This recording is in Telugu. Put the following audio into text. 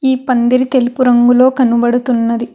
ఈ పందిరి తెలుపు రంగులో కనబడుతున్నది.